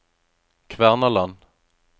Kvernaland